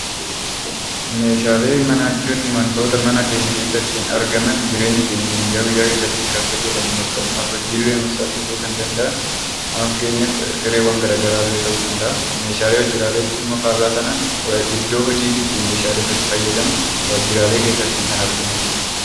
Meeshaalee manaa jechuun wantoota mana keenya keessatti argaman, jireenya keenya guyyaa guyyaa keessatti kan fayyadamnu akkasumas hojiilee salphisuu kan danda'an amma fakkeenyaaf sireewwan gara garaallee ta'uu danda'a. Meeshaa waajjiraalee jechuun immoo faallaa sanaan iddoo hojiititti meeshaaleen ati fayyadamnu waajjiraalee keessatti kan argamanidha.